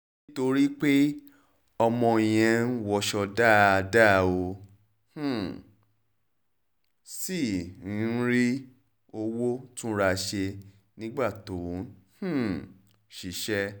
nítorí pé ọmọ yẹn ń wọṣọ dáadáa ó um sì ń rówó túnra ṣe nígbà tó ń um ṣiṣẹ́